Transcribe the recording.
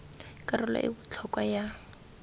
karolo e e botlhokwa ya